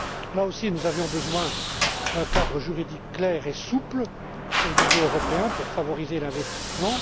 Là ausi nous avions besoin d'un cadre juridique clair et souple au niveau européen pour favoriser l'investissement.